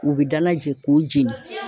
U bɛ dalajɛ k'u jeni